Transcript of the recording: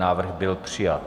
Návrh byl přijat.